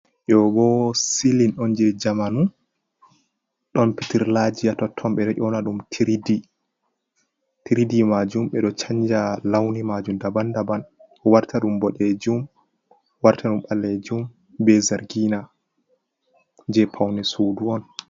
Ɗobo silin on je jamanu. Ɗon peterlaji ha totton be ɗo ƴona ɗum tiriɗi. Tiriɗi majum be ɗo chanja launi majum ɗaban daban. Warta ɗum boɗejum, warta ɗum ballejum be zargina. je poune suɗu on.